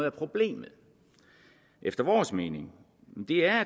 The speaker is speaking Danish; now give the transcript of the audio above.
af problemet efter vores mening